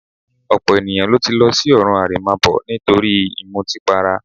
Ọ̀pọ̀ ènìyàn ló ti lọ sí ọ̀run àrèmábọ̀ nítorí ìmutípara